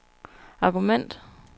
argument